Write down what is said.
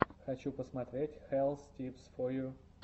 хочу посмотреть хэлс типс фо ю